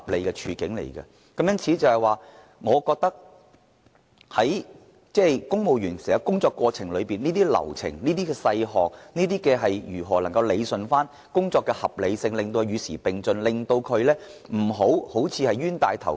因此，公務員在執行工作時，必須注意這些流程和細項，確保政府能夠理順工作的合理性，並且與時並進，避免成為"冤大頭"。